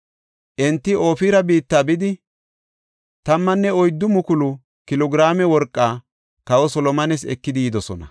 Enti Ofira biitta bidi 14,000 kilo giraame worqaa kawa Solomones ekidi yidosona.